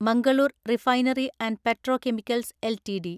Mangalore refinery and petrochemicals LTD